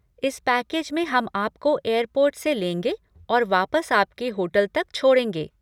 इस पैकेज में हम आपको एयरपोर्ट से लेंगे और वापस आपके होटल तक छोड़ेंगे।